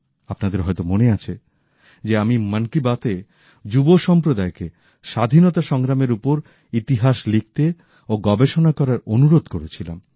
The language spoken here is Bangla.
আপনাদের হয়তো মনে আছে যে আমি মন কি বাত এ যুব সম্প্রদায় কে স্বাধীনতা সংগ্রামের ওপর ইতিহাস লিখতে ও গবেষণা করার অনুরোধ করেছিলাম